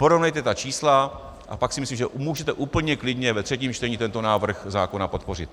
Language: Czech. Porovnejte ta čísla, a pak si myslím, že můžete úplně klidně ve třetím čtení tento návrh zákona podpořit.